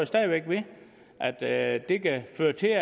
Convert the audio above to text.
stadig væk ved at at det kan føre til at